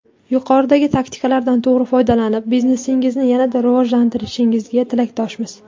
Yuqoridagi taktikalardan to‘g‘ri foydalanib, biznesingizni yanada rivojlantirishingizga tilakdoshmiz.